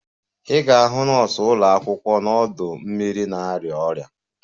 Ị ga-ahụ nọọsụ ụlọ akwụkwọ n'ọdọ mmiri na-arịa ọrịa